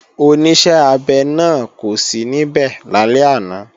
Oníṣẹ́-abẹ náà kò sí níbẹ̀ lálẹ́ àná